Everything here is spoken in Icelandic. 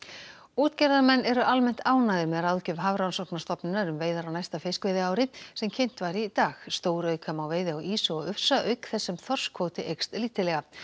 útgerðarmenn eru almennt ánægðir með ráðgjöf Hafrannsóknastofnunar um veiðar á næsta fiskveiðiári sem kynnt var í dag stórauka má veiði á ýsu og ufsa auk þess sem þorskkvóti eykst lítillega